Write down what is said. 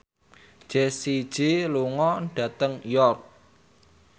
Jessie J lunga dhateng York